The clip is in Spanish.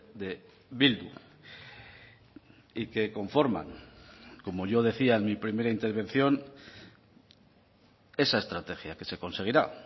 de bildu y que conforman como yo decía en mi primera intervención esa estrategia que se conseguirá